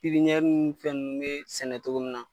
pipiɲɛri ni fɛn nunnu be sɛnɛ togo min na